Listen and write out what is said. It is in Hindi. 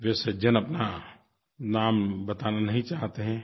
वे सज्जन अपना नाम बताना नहीं चाहते हैं